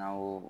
Awɔ